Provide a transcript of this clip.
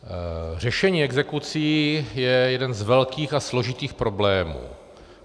Řešení exekucí je jeden z velkých a složitých problémů.